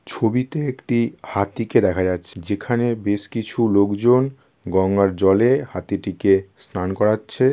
ছবিতে একটি হাতিকে দেখা যাচ্ছে। যেখানে বেশ কিছু লোকজন গঙ্গার জলে হাতিটিকে স্নান করাচ্ছে-এ।